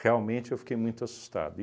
Realmente, eu fiquei muito assustado.